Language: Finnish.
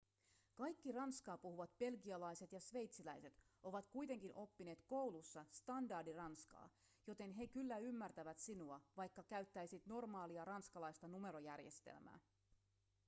kaikki ranskaa puhuvat belgialaiset ja sveitsiläiset ovat kuitenkin oppineet koulussa standardiranskaa joten he kyllä ymmärtävät sinua vaikka käyttäisit normaalia ranskalaista numerojärjestelmää